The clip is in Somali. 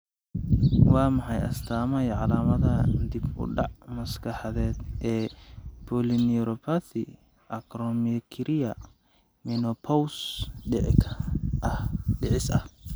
Waa maxay astamaha iyo calaamadaha dib u dhac maskaxeed ee Polyneuropathy acromicria menopause dhicis ah?